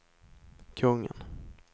kungen